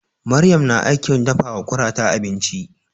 Maryam na aikin dafawa kurata abinci.